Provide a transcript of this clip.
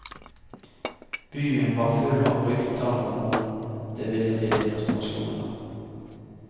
Byen var full av rykter om hvor det ville bli demonstrasjoner.